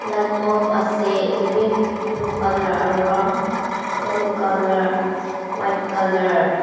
light bulb ase edu bi blue colour aro yellow colour white colour .